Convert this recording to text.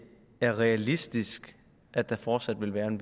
er realistisk at der fortsat vil være en